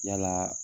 Yala